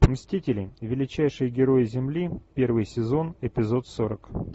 мстители величайшие герои земли первый сезон эпизод сорок